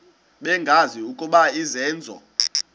bengazi ukuba izenzo